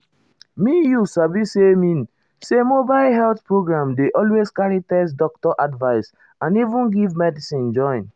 me you sabi saymean say mobile health program dey always carry test doctor advice and even give medicine join.